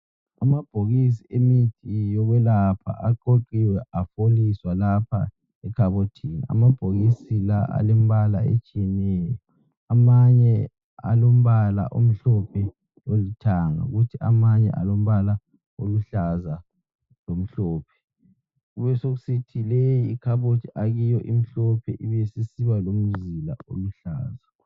Amabhokisi emithi yokwelapha aqoqiwe afoliswa lapha ekhabothini. Amabhokisi la alembala etshiyeneyo amanye alombala omhlophe lolithanga kuthi amanye alombala oluhlaza lomhlophe, kubesekusithi leyi ikhabothi akiyo imhlophe ibisisiba lomzila oluhlaza.